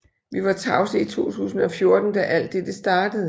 Vi var tavse i 2014 da alt dette startede